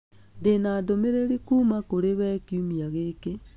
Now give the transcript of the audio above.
Ndĩna ndũmĩrĩri kuuma kũrĩ we kiumia gĩkĩ